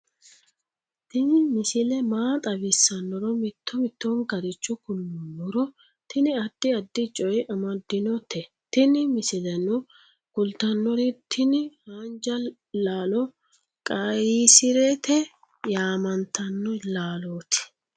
tini misile maa xawissannoro mito mittonkaricho kulummoro tini addi addicoy amaddinote tini misileno kultannori tini haanja lalo qayyisirete yamantanno laloti